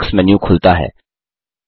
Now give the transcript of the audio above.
bookmarks menu खुलता है